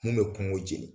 Mun bɛ kɔngo jeni